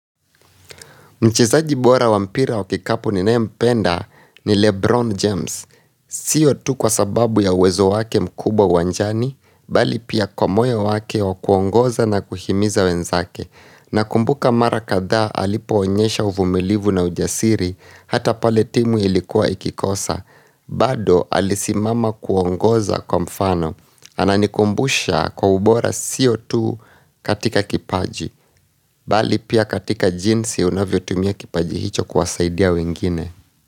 Mchezaji bora wa mpira wakikapu ninaye mpenda ni Lebron James. Sio tu kwa sababu ya uwezo wake mkubwa uwanjani, bali pia kwa moyo wake wa kuongoza na kuhimiza wenzake. Na kumbuka mara kadhaa alipo onyesha uvumilivu na ujasiri, hata paletimu ilikuwa ikikosa. Bado alisimama kuongoza kwa mfano. Ana nikumbusha kwa ubora sio tu katika kipaji Bali pia katika jinsi unavyo tumia kipaji hicho kuwasaidia wengine.